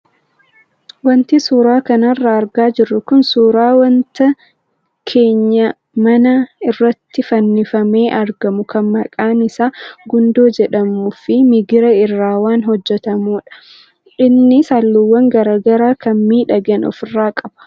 Wanti suuraa kanarraa argaa jirru kun suuraa wanta keenyaa manaa irratti fannifamee argamu kan maqaan isaa gundoo jedhamuu fi migira irraa kan hojjatamedha. Innis halluuwwan garaagaraa kan miidhagan ofirraa qaba.